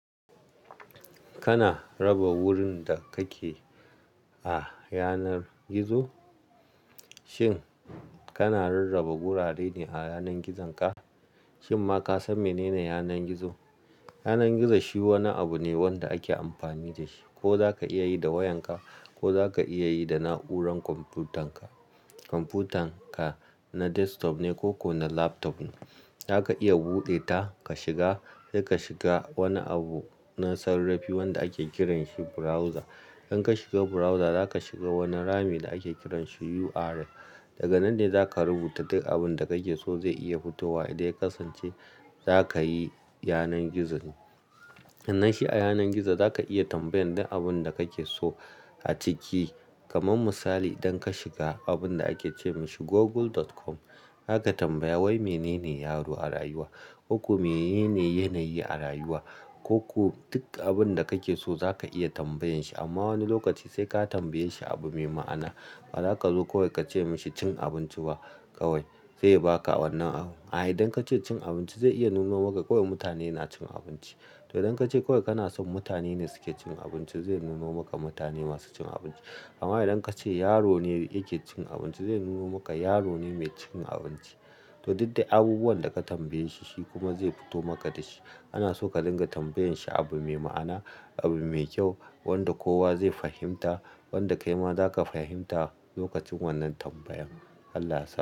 Kana raba wurin da kake a yanar gizo? Shin kana rarraba wurare ne a yanar gizonka? Shin ma ka san menene yanar gizo? Yanar gizo shi wani abu ne wanda ake amfani da shi ko za ka iya yi da wayanka ko za ka iya yi da na'urar kwamfutar ka. Kwamfutar ka na desktop ne ko kuma na laptop ne, za ka iya buɗe ta ka shiga. Sai ka shiga wani abu na sarrafi wanda ake kiranshi browser. Idan ka shiga browser za ka shiga wani rami da ake kiranshi URL. Daga nan ne za ka rubuta duk abin da kake so zai iya fitowa idan ya kasance za ka yi yanar gizo ne. Nan shi a yanar gizo za ka iya tambayan duk abin da kake so a ciki. Kaman misali idan ka shiga abin da ake ce mashi google.com, za ka tambaya "wai menene yaro a rayuwa? Ko kuma menene yanayi a rayuwa?" Koko duk abin da kake so za ka iya tambayan shi amma wani lokaci sai ka tambaye shi abu mai ma'ana. Ba za ka zo kawai ka ce mashi "cin abinci ba kawai" zai baka wannan amsa. A'a idan ka ce "cin abinci" zai iya nuno maka kawai mutane na cin abinci. To idan ka ce kawai kana son mutane ne suke cin abinci, zai nuno maka mutane masu cin abinci. Amma idan ka ce yaro ne yake cin abinci, zai nuno maka yaro ne mai cin abinci. To duk dai abubuwan da ka tambaye shi, shi kuma zai fito maka da shi. Ana so ka dinga tambayan shi abu mai ma'ana, abu mai kyau wanda kowa zai fahimta, wanda kai ma za ka fahimta lokacin wannan tambayan. Allah ya san.